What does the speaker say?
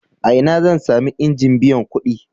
A ina zan sami injin biyan kuɗi?